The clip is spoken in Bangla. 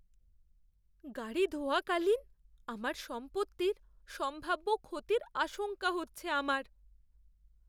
গাড়ি ধোয়া কালীন আমার সম্পত্তির সম্ভাব্য ক্ষতির আশঙ্কা হচ্ছে আমার।